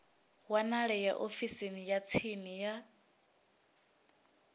wanalea ofisini ya tsini ya